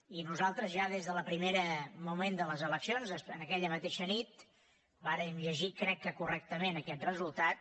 i nosaltres ja des del primer moment de les eleccions aquella mateixa nit vàrem llegir crec que correctament aquest resultat